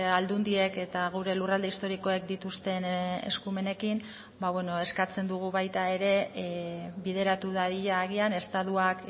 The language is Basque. aldundiek eta gure lurralde historikoek dituzten eskumenekin ba beno eskatzen dugu baita ere bideratu dadila agian estatuak